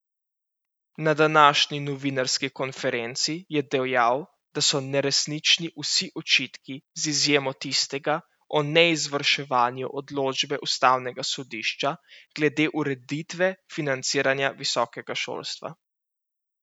Na današnji novinarski konferenci je dejal, da so neresnični vsi očitki, z izjemo tistega o neizvrševanju odločbe ustavnega sodišča glede ureditve financiranja visokega šolstva.